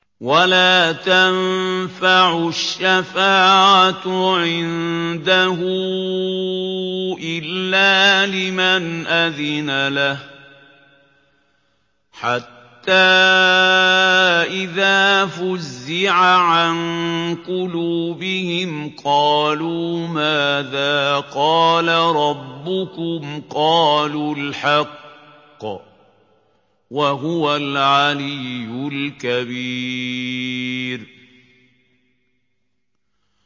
وَلَا تَنفَعُ الشَّفَاعَةُ عِندَهُ إِلَّا لِمَنْ أَذِنَ لَهُ ۚ حَتَّىٰ إِذَا فُزِّعَ عَن قُلُوبِهِمْ قَالُوا مَاذَا قَالَ رَبُّكُمْ ۖ قَالُوا الْحَقَّ ۖ وَهُوَ الْعَلِيُّ الْكَبِيرُ